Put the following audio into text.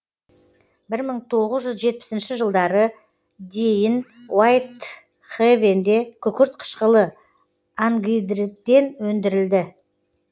бір мың тоғыз жүз жетпісінші жылдарға дейін уайтхэвенде күкірт қышқылы ангидриттен өндірілді